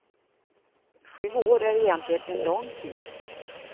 Sju år är egentligen en lång tid.